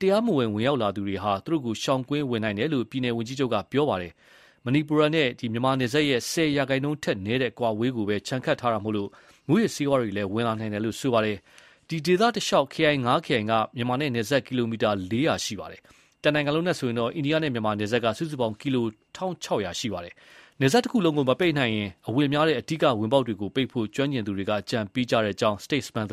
တရားမဝင် ဝင်ရောက်လာသူတွေဟာ သူတို့ကို ရှောင်ကွင်းဝင်နိုင်တယ်လို့ ပြည်နယ် ဝန်ကြီးချုပ်က ပြောပါတယ်။ မဏိပူရနဲ့မြန်မာနယ်စပ်ရဲ့ ၁၀ ရာနှုန်းထက်နည်းတဲ့ အကွာအဝေးကိုပဲ ခြံခတ်ထားတာမို့ မူးယစ်ဆေးဝါးလည်း ဝင်နိုင်တယ်လို့ ဆိုပါတယ်။ ဒီဒေသတလျှောက် ခရိုင် ၅ ခရိုင် က မြန်မာနဲ့နယ်စပ် ကီလိုမီတာ ၄၀၀ ရှိပါတယ်။ တနိုင်ငံလုံးနဲ့ဆိုရင်တော့ အိန္ဒိယနဲ့မြန်မာ နယ်စပ်က စုစုပေါင်း ကီလို ၁,၆၀၀ ရှိတာပါ။ နယ်စပ်တခုလုံးကို မပိတ်နိုင်ရင် အဝင်များတဲ့ အဓိကဝင်ပေါက်တွေကို ပိတ်ဖို့ ကျွမ်းကျင်သူတွေက အကြံပေးကြကြောင်း STATESMAN သတင်း